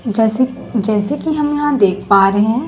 जसक जैसे कि हम यहां देख पा रहे हैं।